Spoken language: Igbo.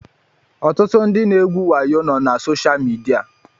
Ọtụtụ ndị na-egwu wayo nọ na soshaal midia